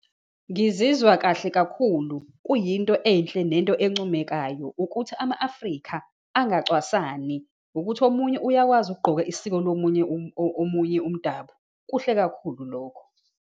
Ngizizwa kahle kakhulu. Kuyinto enhle nento encomekayo ukuthi ama-Afrika angacwasani. Ukuthi omunye uyakwazi ukugqoka isiko lomunye, omunye umdabu, kuhle kakhulu lokho.